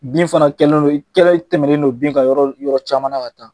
Bin fana kɛlen don , i kɛlen don i tɛmɛnen don bin ka yɔrɔ caman ka taa